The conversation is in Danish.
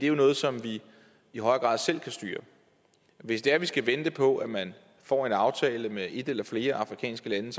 jo noget som vi i højere grad selv kan styre hvis det er vi skal vente på at man får en aftale med et eller flere afrikanske lande